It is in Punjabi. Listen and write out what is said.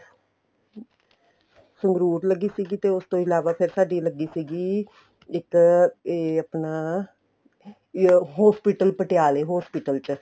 ਸੰਗਰੂਰ ਲੱਗੀ ਸੀਗੀ ਤੇ ਉਸ ਇਲਾਵਾ ਫ਼ੇਰ ਸਾਡੀ ਲੱਗੀ ਸੀਗੀ ਇੱਕ ਇਹ ਆਪਣਾ hospital ਪਟਿਆਲੇ hospital ਚ